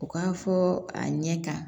U k'a fɔ a ɲɛ ka